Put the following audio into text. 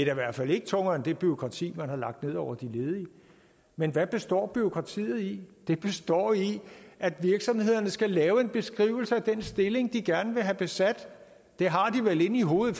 i hvert fald ikke tungere end det bureaukrati man har lagt ned over de ledige men hvad består bureaukratiet i det består i at virksomhederne skal lave en beskrivelse af den stilling de gerne vil have besat den har de vel inde i hovedet